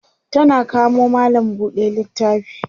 tana kamo mallam buɗe littafi